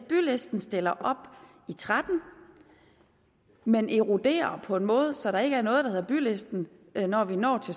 bylisten stiller op og tretten men eroderer på en måde så der ikke er noget der hedder bylisten når vi når til